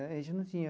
Né a gente não tinha.